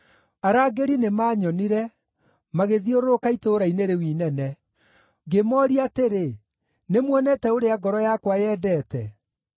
Arangĩri nĩmanyonire, magĩthiũrũrũka itũũra-inĩ rĩu inene. Ngĩmooria atĩrĩ, “Nĩmuonete ũrĩa ngoro yakwa yendete?”